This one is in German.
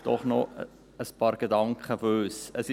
Trotzdem noch ein paar Gedanken von uns.